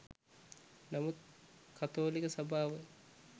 නමුත් කතෝලික සභාව